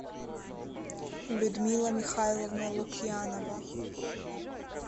людмила михайловна лукьянова